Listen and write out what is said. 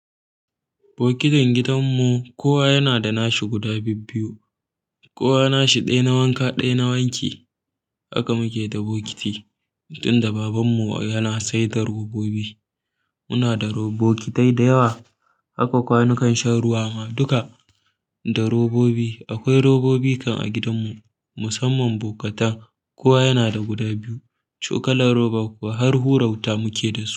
Bokitin gidanmu kowa yana da nashi guda bibbiyu. Kowa nashi ɗaya na wanka ɗaya na wanki. Haka muke da bokiti. Tun da babanmu yana saida robobi, muna da robokitai da yawa. Haka kwanukan shan ruwa ma duka da robobi. Akwai robobi kam a gidanmu musamman bokata. Kowa yana da guda biyu. Chokalan roba kuwa har hura wuta muke da su.